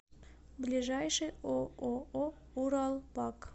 ближайший ооо уралпак